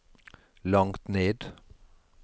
langt ned